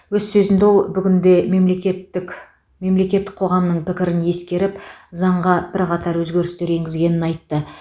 өз сөзінде ол бүгінде мемлекеттік мемлекет қоғамның пікірін ескеріп заңға бірқатар өзгерістер енгізгенін айтты